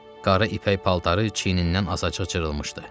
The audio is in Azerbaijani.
Qara ipək paltarı çiynindən azacıq cırılmışdı.